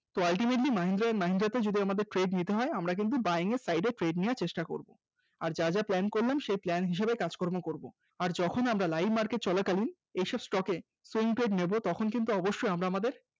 ultimately mahindra and mahindra তে যদি আমাদের trade নিতে হয় আমরা কিন্তু buying এর side এ trade নেওয়ার চেষ্টা করব আর যা যা plan করলাম সেই plan হিসেবে কাজকর্ম করব, আর যখন আমরা live চলাকালীন এসব stock এর same trade নেব তখন কিন্তু অবশ্যই আমরা আমাদের